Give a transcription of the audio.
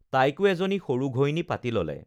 তাইকো এজনী সৰু ঘৈণী পাতি ল'লে